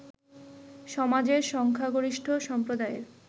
সমাজের সংখ্যাগরিষ্ঠ সম্প্রদায়ের